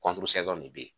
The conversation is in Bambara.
nin de bɛ yen